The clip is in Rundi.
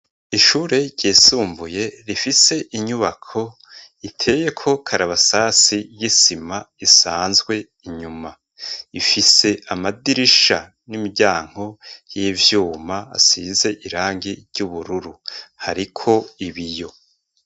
Ishure ryisumbuye rifise inyubako iteyeko karabasasi y'isima isanzwe inyuma. Ifise amadirisha n'imiryango y'ivyuma asize irangi ry'ubururu hariko ibiyo.